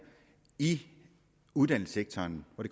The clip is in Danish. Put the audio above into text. i uddannelsessektoren og